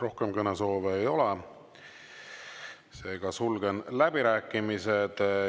Rohkem kõnesoove ei ole, sulgen läbirääkimised.